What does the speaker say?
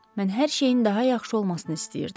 Mən hər şeyin daha yaxşı olmasını istəyirdim.